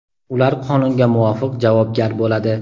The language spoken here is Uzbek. ular qonunga muvofiq javobgar bo‘ladi..